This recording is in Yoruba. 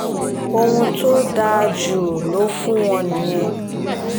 ohun tó dáa jù lọ fún wọn nìyẹn